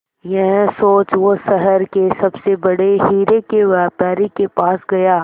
यह सोच वो शहर के सबसे बड़े हीरे के व्यापारी के पास गया